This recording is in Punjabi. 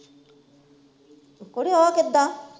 ਕੂੜੇ ਉਹ ਕਿੱਦਾ